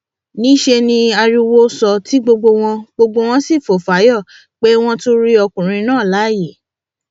níṣẹ ni ariwo sọ tí gbogbo wọn gbogbo wọn sì fò fáyọ pé wọn tún rí ọkùnrin náà láàyè